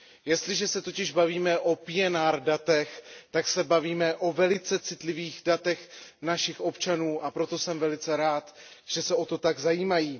Jestliže se totiž bavíme o PNR datech, tak se bavíme o velice citlivých datech našich občanů, a proto jsem velice rád, že se o to tak zajímají.